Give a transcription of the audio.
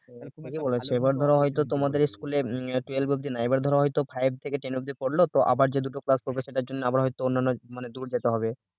ঠিকই বলেছো এবার ধরো হয়তো তোমাদের school অব্দি না এবার ধরো হয়তো five থেকে ten অব্দি করল আবার যতটুকু ক্লাস করবে সেটার জন্য হয়তো অন্যান্য মানে দূর যেতে হবে